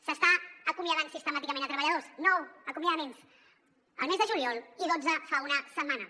s’estan acomiadant sistemàticament treballadors nou acomiadaments el mes de juliol i dotze fa una setmana